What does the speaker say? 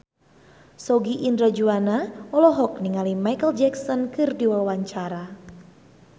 Sogi Indra Duaja olohok ningali Micheal Jackson keur diwawancara